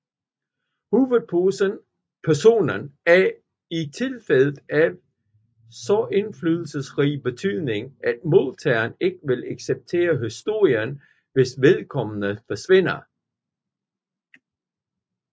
Hovedpersonen er i tilfælde af så indflydelsesrig betydning at modtageren ikke vil acceptere historien hvis vedkommende forsvinder